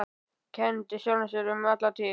Kenndi sjálfum sér um alla tíð.